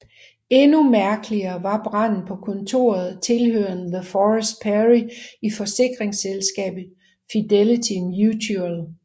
Endnu mærkeligere var branden på kontoret tilhørende Le Forest Perry i forsikringsselskabet Fidelity Mutual